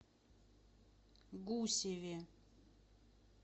гусеве